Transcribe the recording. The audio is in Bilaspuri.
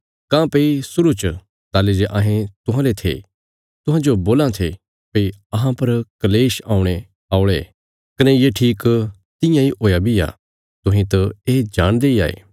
काँह्भई शुरु च ताहली जे अहें तुहांले थे तुहांजो बोलां थे भई अहां पर कल़ेश औणे औल़े कने ये ठीक तियां इ हुया बी आ तुहें त ये जाणदे इ हाये